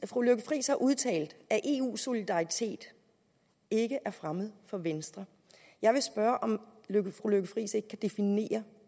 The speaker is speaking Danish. fru lykke friis har udtalt at eu solidaritet ikke er fremmed for venstre jeg vil spørge om fru lykke friis ikke kan definere